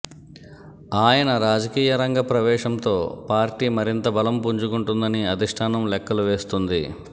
ఆయన రాజకీయ రంగ ప్రవేశంతో పార్టీ మరింత బలం పుంజుకుంటుందని అధిష్టానం లెక్కలువేస్తోంది